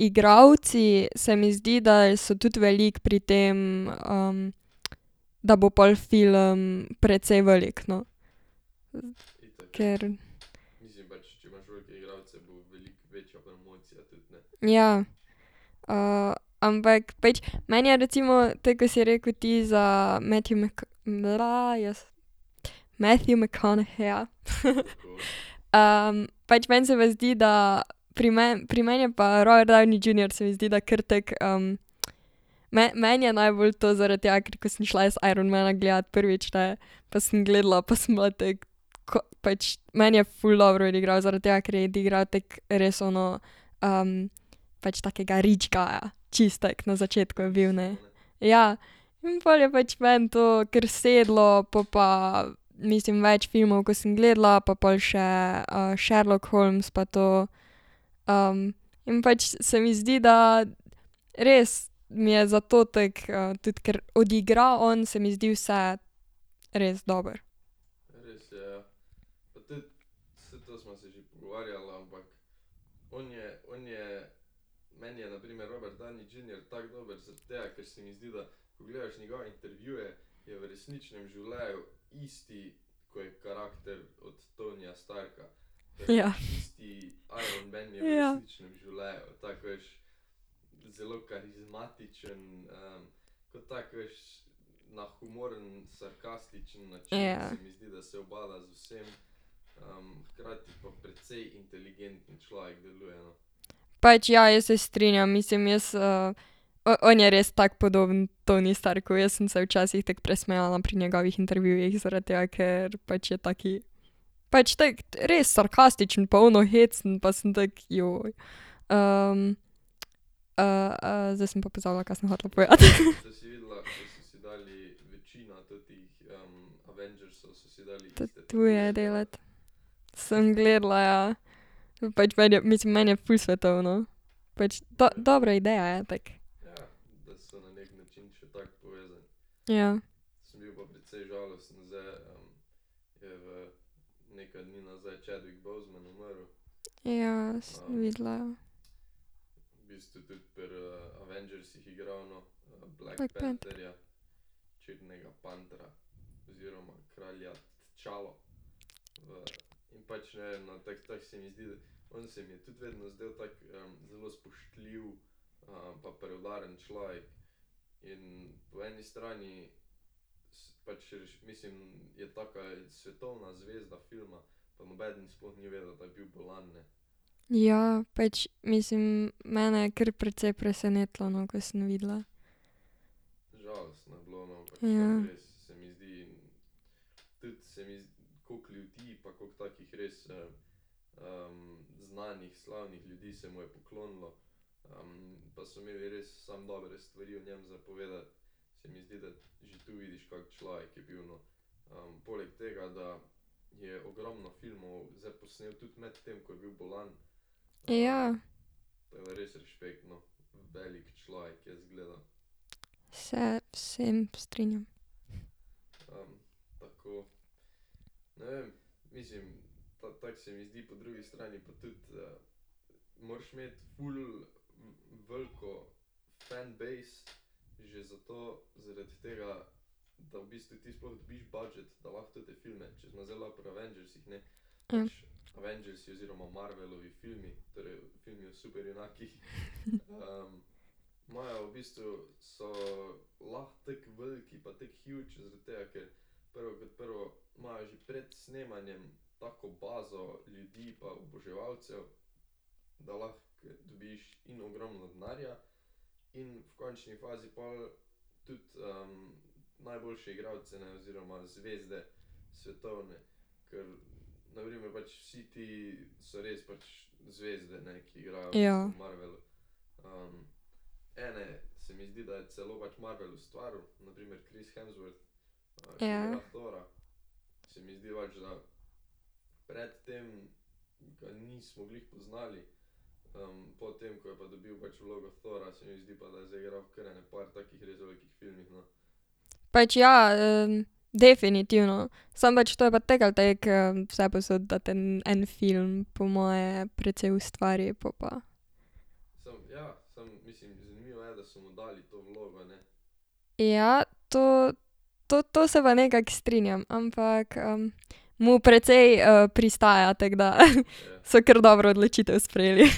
igralci, se mi zdi, da so tudi veliko pri tem da bo pol film precej velik, no. Ker. Ja. ampak pač, meni je recimo tako, ko si rekel ti za Matthew jaz Matthew McConaugheyja Pač meni se pa zdi, da pri meni, pri meni je pa Robert Downey Junior, se mi zdi, da kar tako meni je najbolj to zaradi tega, ker ko sem šla jaz Iron mana gledat prvič, ne, pa sem gledala pa sem bila tako, ko pač, meni je ful dobro odigral, zaradi tega, ker je odigral tako res ono pač takega rich guya, čisto tako na začetku je bil, ne. Ja. In pol je pač meni to kar sedlo, po pa mislim, več filmov, ko sem gledala, pa pol še Sherlock Holmes pa to in pač se mi zdi, da res mi je zato tako tudi, ker odigra on, se mi zdi, vse res dobro. Ja, ja. Ja. Pač ja, jaz se strinjam, mislim, jaz, on je res tak podoben Tony Starku, jaz sem se včasih tako presmejala pri njegovih intervjujih, zaradi tega, ker pač je tak, pač tako, res sarkastičen pa ono hecen pa sem tako, zdaj sem pa pozabila, ka sem hotela povedati . tatuje delati. Sem gledala, ja. Pač meni je, mislim, meni je ful svetovno. Pač dobra ideja je, tako. Ja. Ja, sem videla, ja. Black panther. Ja, pač, mislim, mene je kar precej presenetilo, no, ko sem videla. Ja. Ja. Se v vsem strinjam. Ja. Ja. Ja. Pač, ja Definitivno, samo pač to je pa tako ali tako vse povsod, da te en film po moje precej ustvari, po pa. Ja, to, to to se pa nekako strinjam, ampak mu precej pristaja, tako da so kar dobro odločitev sprejeli .